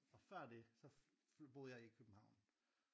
Og før det så boede jeg i København